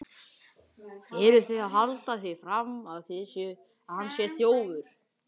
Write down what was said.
Eruð þið að halda því fram að hann sé þjófur!